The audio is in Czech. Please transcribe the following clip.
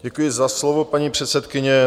Děkuji za slovo, paní předsedkyně.